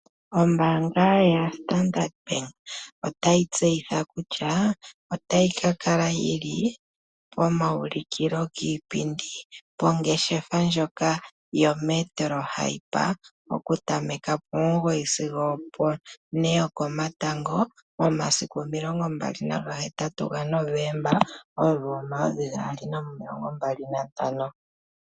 Ombaanga yaStandard bank otayi tseyitha kutya otayi ka kala komaulikilo giipindi kongeshefa ndjoka yometro hyper okuza pomugoyi sigo one yokomatango momasiku 28 Novemba 2025.